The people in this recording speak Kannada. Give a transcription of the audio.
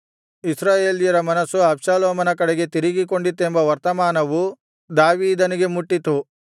ಇಸ್ರಾಯೇಲ್ಯರ ಮನಸ್ಸು ಅಬ್ಷಾಲೋಮನ ಕಡೆಗೆ ತಿರುಗಿಕೊಂಡಿತೆಂಬ ವರ್ತಮಾನವು ದಾವೀದನಿಗೆ ಮುಟ್ಟಿತು